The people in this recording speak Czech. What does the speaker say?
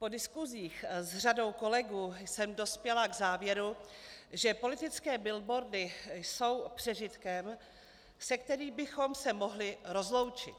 Po diskusích s řadou kolegů jsem dospěla k závěru, že politické billboardy jsou přežitkem, se kterým bychom se mohli rozloučit.